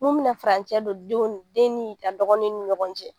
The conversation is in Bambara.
N'u bɛna farancɛ don denw den ni a dɔgɔnin ni ɲɔgɔn cɛ